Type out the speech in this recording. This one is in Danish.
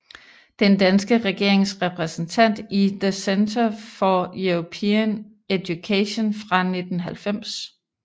Den danske regerings repræsentant i The Centre for European Education fra 1990